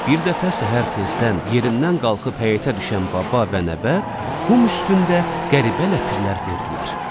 Bir dəfə səhər tezdən yerindən qalxıb həyətə düşən baba və nəvə qum üstündə qəribə ləpirlər gördülər.